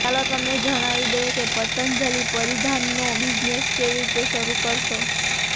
ચાલો તમને જણાવી દઈએ કે પતંજલિ પરિધાનનો બિઝનેસ કેવી રીતે શરૂ કરશો